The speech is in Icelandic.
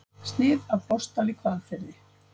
Snið af Botnsdal í Hvalfirði.